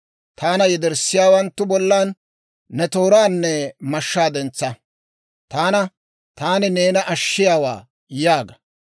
Taana yederssiyaawanttu bollan ne tooraanne mashshaa dentsa. Taana, «Taani neena ashshiyaawaa» yaaga.